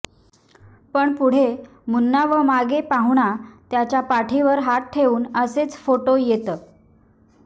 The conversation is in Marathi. पण पुढे मुन्ना व मागे पाहुणा त्याच्या पाठीवर हात ठेवून असेच फोटो येत